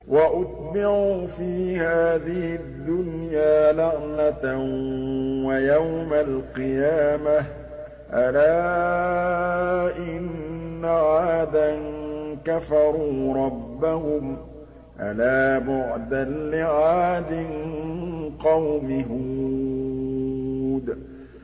وَأُتْبِعُوا فِي هَٰذِهِ الدُّنْيَا لَعْنَةً وَيَوْمَ الْقِيَامَةِ ۗ أَلَا إِنَّ عَادًا كَفَرُوا رَبَّهُمْ ۗ أَلَا بُعْدًا لِّعَادٍ قَوْمِ هُودٍ